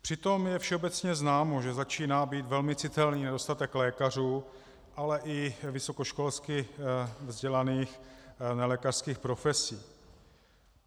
Přitom je všeobecně známo, že začíná být velmi citelný nedostatek lékařů, ale i vysokoškolsky vzdělaných nelékařských profesí.